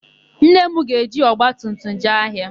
Nne m ga-eji ọgbatumtum jee ahịa.